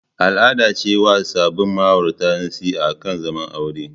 Al'ada ce yi wa sabin ma'aurata nasiha akan zaman aure.